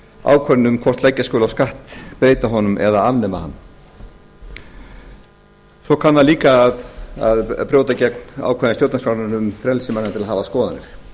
ákvörðun um hvort leggja skuli á skatt breyta honum eða afnema hann svo kann það líka að brjóta gegn ákvæði stjórnarskrárinnar um frelsi manna til að hafa skoðanir